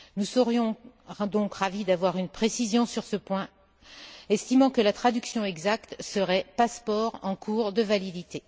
Nous serions donc ravis d'avoir une précision sur ce point, estimant que la traduction exacte serait passeport en cours de validité.